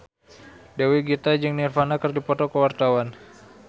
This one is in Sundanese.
Dewi Gita jeung Nirvana keur dipoto ku wartawan